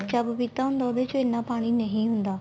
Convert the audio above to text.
ਕੱਚਾ ਪਪੀਤਾ ਹੁੰਦਾ ਉਹਦੇ ਚ ਇੰਨਾ ਪਾਣੀ ਨਹੀਂ ਹੁੰਦਾ